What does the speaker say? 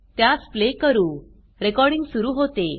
त्यास प्ले करू रेकॉर्डिंग सुरू होते